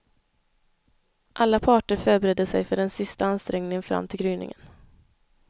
Alla parter förberedde sig för den sista ansträngningen fram till gryningen.